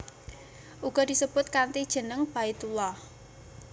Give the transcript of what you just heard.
Uga disebut kanthi jeneng Baitullah